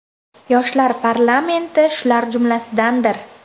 Yoshlar parlamenti shular jumlasidandir.